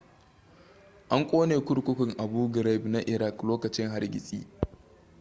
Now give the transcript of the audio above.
an kone kurkukun abu ghraib na iraq lokacin hargitsi